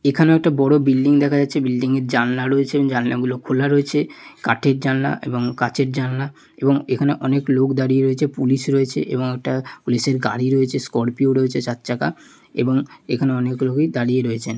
এখানেও একটা বড়ো বিল্ডিং দেখা যাচ্ছে বিল্ডিং য়ের জানলা রয়েছে এবং জানলা গুলো খোলা রয়েছে কাঠের জানলা এবং কাচের জানলা এবং এখানে অনেক লোক দাঁড়িয়ে রয়েছে পুলিশ রয়েছে এবং একটা পুলিশের গাড়ি রয়েছে স্করপিও রয়েছে চার চাকা এবং এখানে অনেক লোকই দাঁড়িয়ে রয়েছে।